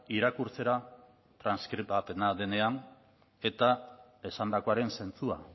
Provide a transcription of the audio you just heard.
irakurtzera transkribapena denean eta esandakoaren zentzua